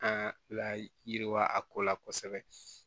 An la yiriwa a ko la kosɛbɛ